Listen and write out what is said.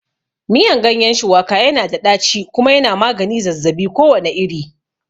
Miyan ganyen shuwaka yana da ɗaci kuma yana magani zazzabi kowane iri